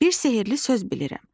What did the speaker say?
Bir sehirli söz bilirəm.